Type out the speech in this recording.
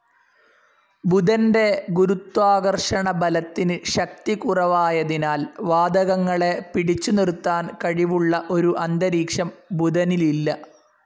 ബുധന്റെ ഗുരുത്വാകർഷണബലത്തിന്‌ ശക്തി കുറവായതിനാൽ വാതകങ്ങളെ പിടിച്ചുനിർത്താൻ കഴിവുള്ള ഒരു അന്തരീക്ഷം ബുധനിലില്ല.